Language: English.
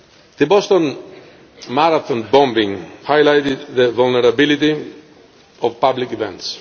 The Boston Marathon bombing highlighted the vulnerability of public events.